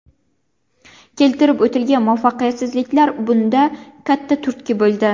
Keltirib o‘tilgan muvaffaqiyatsizliklar bunda katta turtki bo‘ldi.